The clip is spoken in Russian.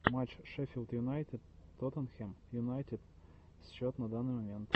матч шеффилд юнайтед тоттенхэм юнайтед счет на данный момент